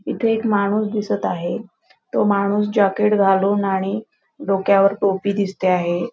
इथ एक माणूस दिसत आहे. तो माणूस जॅकेट घालून आणि डोक्यावर टोपी दिसते आहे.